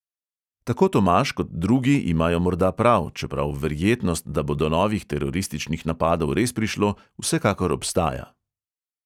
Tako tomaž kot drugi imajo morda prav, čeprav verjetnost, da bo do novih terorističnih napadov res prišlo, vsekakor obstaja.